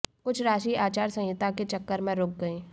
कुछ राशि आचार संहिता के चक्कर में रुक गई